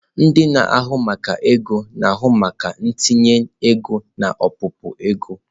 Ndị na-ahụ maka ego na-ahụ maka ntinye ego na ọpụpụ ego.